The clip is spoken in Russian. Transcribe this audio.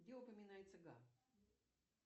где упоминается га